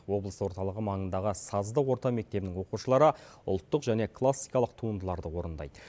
облыс орталығы маңындағы сазды орта мектебінің оқушылары ұлттық және классикалық туындыларды орындайды